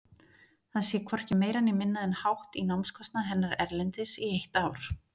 Það sé hvorki meira né minna en hátt í námskostnað hennar erlendis í eitt ár.